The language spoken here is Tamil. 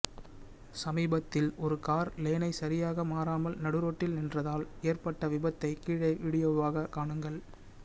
சமீபத்தில் ஒரு கார் லேனை சரியாக மாறாமல் நடுரோட்டில் நின்றால் ஏற்பட்ட விபத்தை கீழே வீடியோவாக காணுங்கள்